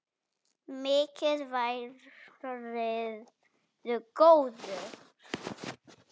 Mikið værirðu góður.